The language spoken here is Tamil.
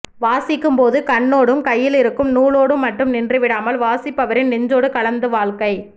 வாசிக்கும் போது கண்ணோடும் கையிலிருக்கும் நூலோடும் மட்டும் நின்று விடாமல் வாசிப்பவரின் நெஞ்சோடு கலந்து வாழ்க்கை